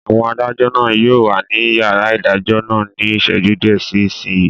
Àwọn adájọ́ náà yóò wà ní yàrá ìdájọ́ náà ní ìṣẹ́jú díẹ̀ sí ìsinyìí